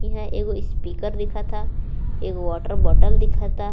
इहां एगो स्पीकर दिख ता एगो वाटर बॉटल दिख ता।